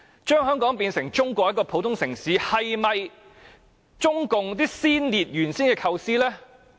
將香港變成中國的普通城市，是否中共先烈原有的構思呢？